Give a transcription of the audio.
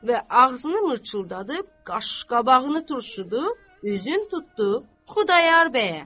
Və ağzını mıçıldadıb, qaşqabağını turşudu, üzün tutdu Xudayar bəyə.